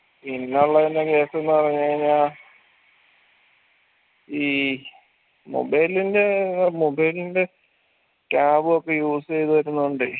ഇന്നുള്ളതിൻറെ case ന്ന് പറഞ്ഞ് കൈനാൽ ഈ mobile ൻറെ ആഹ് mobile ൻറെ tab ഉ ഒക്കെ use യ്ത് വെക്കുന്നോണ്ടേ